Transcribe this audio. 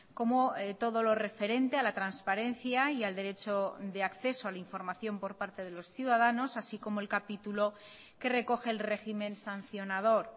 como todo lo referente a la transparencia y al derecho de acceso a la información por parte de los ciudadanos así como el capítulo que recoge el régimen sancionador